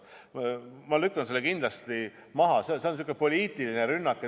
Ma lükkan selle kindlalt tagasi, see on säärane poliitiline rünnak.